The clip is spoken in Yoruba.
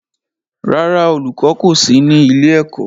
Rárá, olùkọ́ kọ̀ sí ní ilé-ẹ̀kọ́.